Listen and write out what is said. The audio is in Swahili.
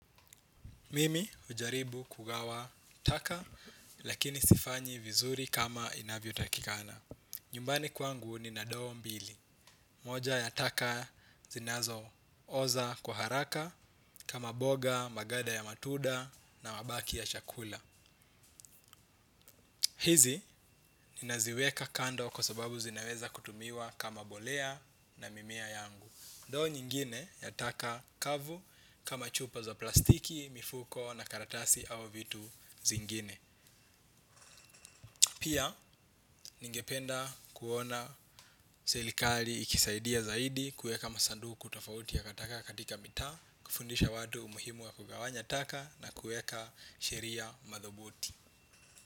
Mimi hujaribu kugawa taka lakini sifanyi vizuri kama inavyo takikana. Nyumbani kwangu nina ndoo mbili. Moja ya taka zinazo oza kwa haraka kama mboga, maganda ya matunda na mabaki ya chakula. Hizi ninaziweka kando kwa sababu zinaweza kutumiwa kama mbolea na mimea yangu. Ndoo nyingine yataka kavu kama chupa za plastiki, mifuko na karatasi au vitu zingine. Pia ningependa kuona serikali ikisaidia zaidi kueka masanduku tofauti ya takataka katika mitaa. Kufundisha watu umuhimu wa kugawanya taka na kueka sheria madhubuti.